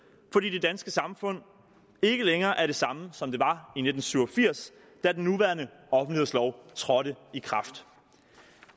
fordi det danske samfund ikke længere er det samme som det var i nitten syv og firs da den nuværende offentlighedslov trådte i kraft